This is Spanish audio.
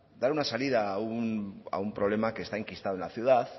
dar una salida a un problema que está enquistado en la ciudad